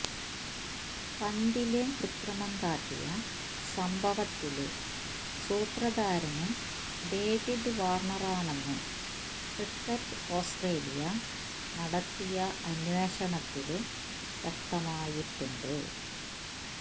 പന്തില് കൃത്രിമം കാട്ടിയ സംഭവത്തിലെ സൂത്രധാരന് ഡേവിഡ് വാര്ണറാണെന്ന് ക്രിക്കറ്റ് ഓസ്ട്രേലിയ നടത്തിയ അന്വേഷണത്തില് വ്യക്തമായിട്ടുണ്ട്